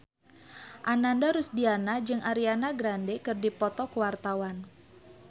Ananda Rusdiana jeung Ariana Grande keur dipoto ku wartawan